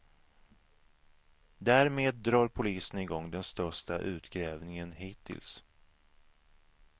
Därmed drar polisen igång den största utgrävningen hittills.